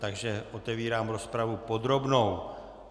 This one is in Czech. Takže otevírám rozpravu podrobnou.